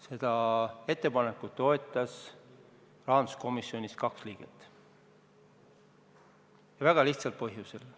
Seda ettepanekut toetas rahanduskomisjonis kaks liiget, ja väga lihtsal põhjusel.